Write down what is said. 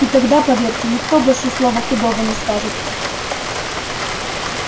и тогда поверьте никто больше слова худого не скажет